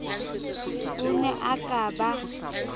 o ne a ka ba